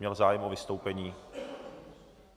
Měl zájem o vystoupení?